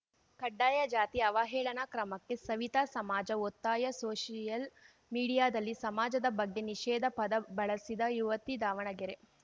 ಕಡ್ಡಾಯಜಾತಿ ಅವಹೇಳನ ಕ್ರಮಕ್ಕೆ ಸವಿತಾ ಸಮಾಜ ಒತ್ತಾಯ ಸೋಷಿಯಲ್‌ ಮೀಡಿಯಾದಲ್ಲಿ ಸಮಾಜದ ಬಗ್ಗೆ ನಿಷೇದ ಪದ ಬಳಸಿದ ಯುವತಿ ದಾವಣಗೆರೆ